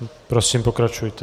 Prosím pokračujte.